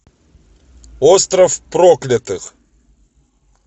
остров проклятых